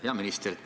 Hea minister!